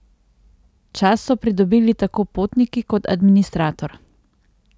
Čas so pridobili tako potniki kot administrator.